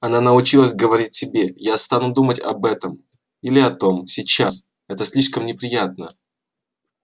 она научилась говорить себе я не стану думать об этом или о том сейчас это слишком неприятно